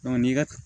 n'i ka